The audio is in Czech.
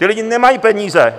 Ti lidé nemají peníze!